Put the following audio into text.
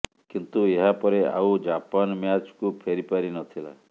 କିନ୍ତୁ ଏହା ପରେ ଆଉ ଜାପାନ ମ୍ୟାଚକୁ ଫେରିପାରି ନଥିଲା